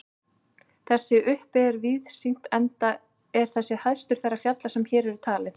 Þar uppi er víðsýnt enda er þessi hæstur þeirra fjalla sem hér eru talin.